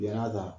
Yann'a ta